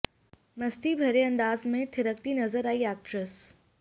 मस्ती भरे अंदाज में थिरकती नजर आईं एक्ट्रेस